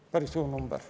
Riina Sikkut, palun!